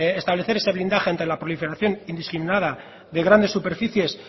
establecer ese blindaje entre la proliferación indiscriminada de grandes superficies